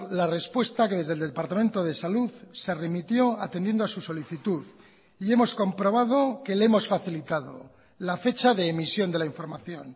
la respuesta que desde el departamento de salud se remitió atendiendo a su solicitud y hemos comprobado que le hemos facilitado la fecha de emisión de la información